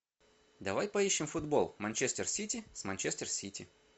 давай поищем футбол манчестер сити с манчестер сити